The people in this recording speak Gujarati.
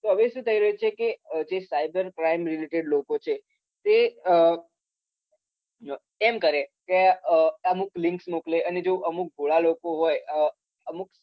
હવે શું થઈ રહ્યું છે કે જે cyber crime related લોકો છે તે અ એમ કરે કે અમુક link મોકલે અમુક ભોળા લોકો હોય અમુક